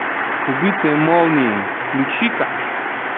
убитые молнией включи ка